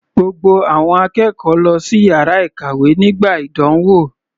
Gbogbo àwọn akẹ́kọ̀ọ́ lọ sí yàrá ìkàwé nígbà ìdánwò.